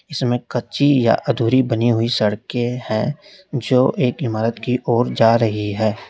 इसमें कच्ची या अधूरी बनी हुई सड़के है जो एक इमारत की ओर जा रही है।